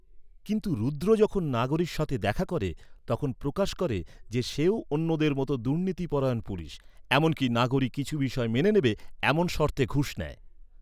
কিন্তু রুদ্র যখন নাগোরির সাথে দেখা করে, তখন প্রকাশ করে যে, সেও অন্যদের মতো দুর্নীতি পরায়ণ পুলিশ। এমনকি, নাগোরি কিছু বিষয় মেনে নেবে, এমন শর্তে ঘুষ নেয়।